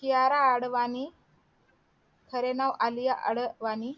कियारा अडवाणी खरे नाव आलीया अडवाणी